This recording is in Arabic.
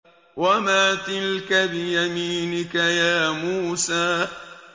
وَمَا تِلْكَ بِيَمِينِكَ يَا مُوسَىٰ